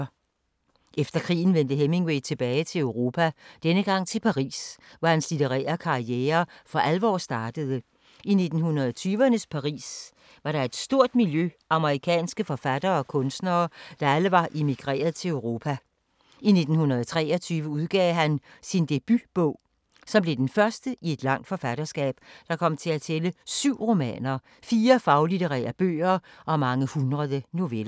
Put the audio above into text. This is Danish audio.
Efter krigen vendte Hemingway tilbage til Europa, denne gang til Paris, hvor hans litterære karriere for alvor startede. I 1920’ernes Paris var der et stort miljø af amerikanske forfattere og kunstnere, der alle var emigreret til Europa. I 1923 udgav han sin debutbog, som blev den første i et langt forfatterskab, der kom til at tælle syv romaner, fire faglitterære bøger og mange hundrede noveller.